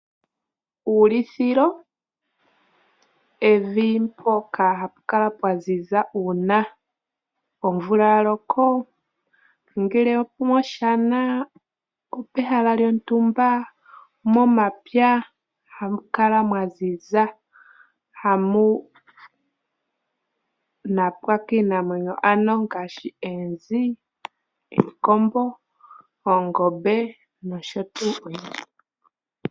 Uulithilo evi mpoka ha pukala pwaziza uuna omvula yaloko ongele omoshana opehala lyontumba, momapya hamukala mwaziza, hamu napwa kiinamwenyo ano ngaashi eenzi, iikombo, oongobe nosho tuu.